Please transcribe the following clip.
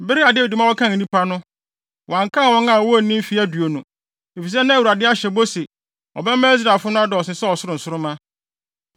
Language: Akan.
Bere a Dawid ma wɔkan nnipa no, wɔankan wɔn a wonnii mfe aduonu, efisɛ na Awurade ahyɛ bɔ sɛ ɔbɛma Israelfo no adɔɔso sɛ ɔsoro nsoromma.